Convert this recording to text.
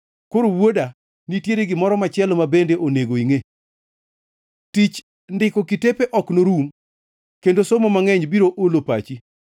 Koro wuoda nitiere gimoro machielo ma bende onego ingʼe. Tich ndiko kitepe ok norum kendo somo mangʼeny biro olo pachi.